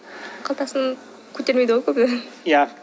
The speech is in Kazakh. қалтасын көтермейді ау көбі иә